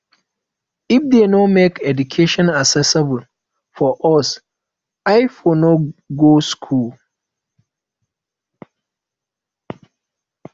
if dey no make education accessible for us i for no go school